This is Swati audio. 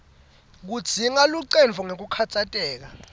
kudzinga luncendvo ngekukhatsateka